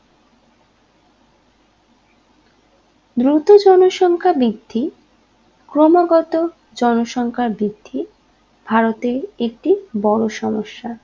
দ্রুত জনসংখ্যা বৃদ্ধি ক্রমাগত জনসংখ্যার বৃদ্ধি ভারতে একটি বড় সমস্যা